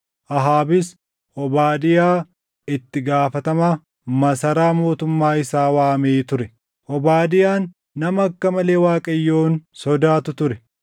Ahaabis Obaadiyaa itti gaafatama masaraa mootummaa isaa waamee ture. Obaadiyaan nama akka malee Waaqayyoon sodaatu ture.